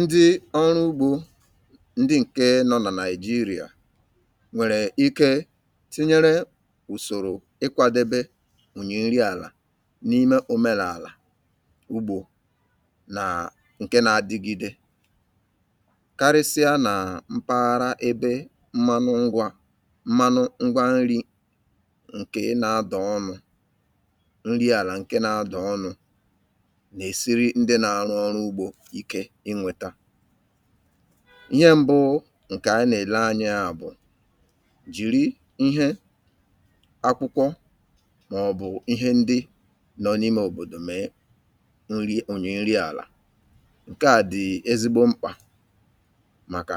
Ndị ọrụ ugbo ndị ǹke nọ na nàịjirịa nwèrè ike tinyere ùsòrò ịkwadebe ùnyè nri àlà n’ime òmenàlà ugbȯ nà ǹke na-adigide karịsịa nà mpaghara ebe mmanụ ngwȧ mmanụ ngwa nri ǹke nȧ-adọ̀ ọnụ̇ nri ala nke na ado ọnụ na e siri ndị nȧ-arụ ọrụ ugbȯ ike inweta. Ihe mbụ ǹkè ànyị nà-èle anya à bụ̀, jìri ihe akwụkwọ mà ọ̀bụ̀ ihe ndi nọ n’ime òbòdò mee onyè nri àlà. Ǹke à dì ezigbo mkpà màkà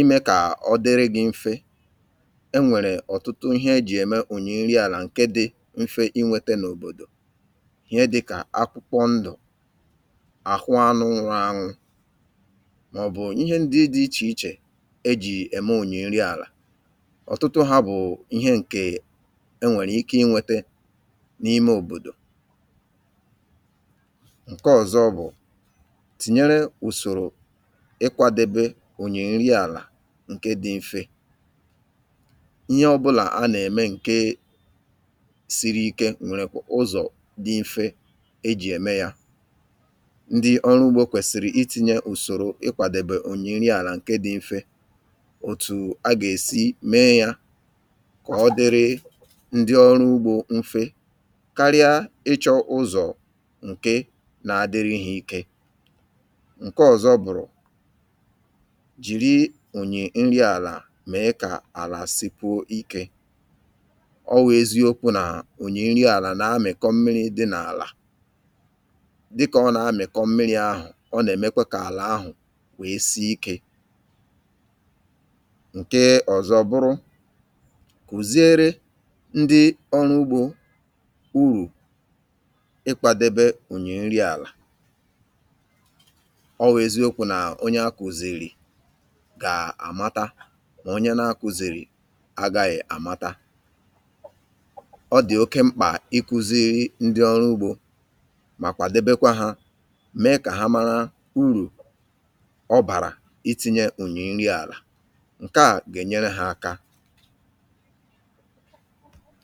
imė kà ọ dịrị gi mfe. E nwèrè ọ̀tụtụ ihe ejì ème onyè nri àlà ǹke dị mfe ịnwėte n’òbòdò ihe dị̇kà akwụkwọ ndụ̀, àhụ anụ nrọ̇ añụ mà ọ̀bụ̀ ihe ndị dị̇ ichè ichè ejì ème ònyè nri àlà. Ọ̀tụtụ ha bụ̀ ihe ǹkè enwèrè ike ịnwėte n’ime òbòdò. Ǹke ọ̀zọ bụ̀, tinyere ùsòrò ịkwȧdebe ònyè nri àlà ǹke dị mfe. Ihe ọbụlà a nà-ème ǹke siri ike nwèrè kwà ụzọ̀ dị mfe ejì ème ya. Ndị ọrụ ugbȯ kwèsìrì ịti̇nyė ùsòro ịkwàdèbè onyè nri àlà ǹke dị̇ mfe otù a gà-èsi mee yȧ kà ọ dịrị ndị ọrụ ugbȯ mfe karịa ịchọ̇ ụzọ̀ ǹkè na-adịrị̇ ike. Ǹke ọ̀zọ bụ̀rụ̀, jìri ònyè nri àlà mee kà àlà sịkwuo ikė. Ọ wụ̀ eziokwu nà ònyè nri àlà na-amị̀kọ mmiri dị̇ n’àlà dika ọ na amikọ mmiri ahụ, ọ nà-èmekwa kà àlà ahụ̀ wèe si ikė. Ǹke ọ̀zọ bụrụ, kùziere ndi ọrụ ugbȯ urù ikwȧdebe ùnyè nri àlà. Ọ̀ wèeziokwu̇ nà onye akùzìrì gàà àmata mà onye na-akùzìrì agȧghị̀ àmata, ọ dì oke mkpà ịku̇zi̇ri̇ ndi ọrụ ugbȯ makwa debekwa ha mee ka ha mara uru ọ bàrà ịti̇nyė ònyìnri àlà. Ǹkè a gà-ènyere hȧ aka.